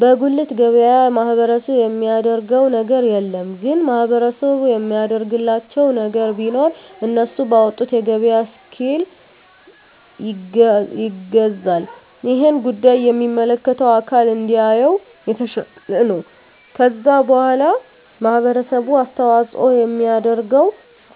በጉልት ገበያ ማህበረሰቡ የሚያደረገው ነገር የለም ግን ማህበረሰቡ የሚያደርግላቸው ነገር ቢኖር እነሱ ባወጡት የገበያ እስኪል ይገዛል እሄን ጉዳይ የሚመለከተው አካል እንዲያየው የተሻለ ነው ከዛ በዋላ ማህበረሰቡ አስተዋጽኦ የሚያደርገው